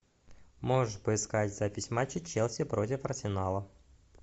можешь поискать запись матча челси против арсенала